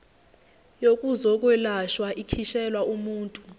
yokuzokwelashwa ikhishelwa umuntu